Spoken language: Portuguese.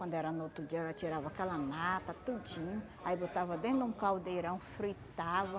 Quando era no outro dia, ela tirava aquela nata, tudinho, aí botava dentro de um caldeirão, fritava.